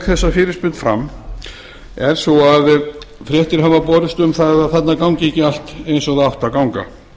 þessa fyrirspurn fram er sú að fréttir hafa borist um að þarna gangi ekki allt eins og það átti að ganga